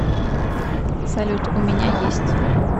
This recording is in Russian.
салют у меня есть